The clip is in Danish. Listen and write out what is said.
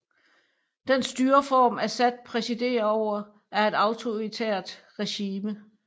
Den styreform Assad præsiderer over er et autoritært regime